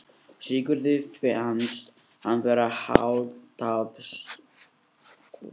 Sigurði fannst hann vera hálfstálpaður unglingur þegar hann steig á land.